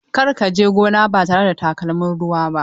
Kar ka je gona ba tare da takalmin ruwa ba!